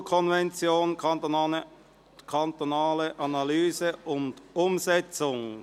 «Istanbul-Konvention – Kantonale Analyse und Umsetzung».